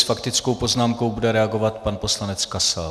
S faktickou poznámkou bude reagovat pan poslanec Kasal.